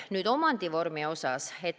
Nüüd omandivormist.